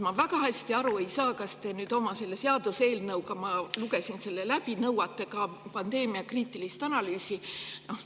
Ma väga hästi aru ei saa, kas te nüüd oma seaduseelnõuga – ma lugesin selle läbi – nõuate ka pandeemia kriitilist analüüsi.